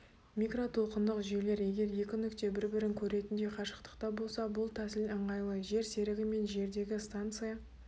микротолқындық жүйелер егер екі нүкте бір-бірін көретіндей қащықтықта болса бұл тәсіл ыңғайлы жерсерігі мен жердегі станция